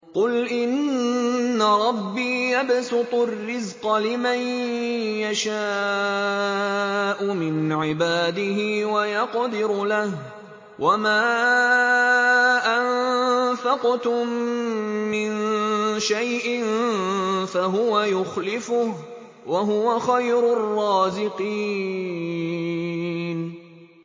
قُلْ إِنَّ رَبِّي يَبْسُطُ الرِّزْقَ لِمَن يَشَاءُ مِنْ عِبَادِهِ وَيَقْدِرُ لَهُ ۚ وَمَا أَنفَقْتُم مِّن شَيْءٍ فَهُوَ يُخْلِفُهُ ۖ وَهُوَ خَيْرُ الرَّازِقِينَ